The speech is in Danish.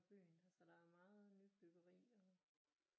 Byen altså der er meget nybyggeri og